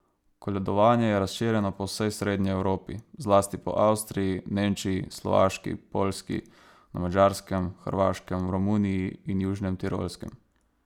Koledovanje je razširjeno po vsej srednji Evropi, zlasti po Avstriji, Nemčiji, Slovaški, Poljski, na Madžarskem, Hrvaškem, v Romuniji in Južnem Tirolskem.